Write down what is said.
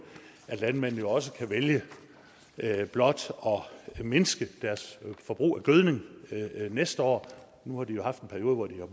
at landmændene også kan vælge blot at mindske deres forbrug af gødning næste år nu har de jo haft en periode hvor de har